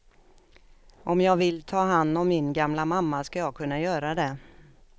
Om jag vill ta hand om min gamla mamma ska jag kunna göra det.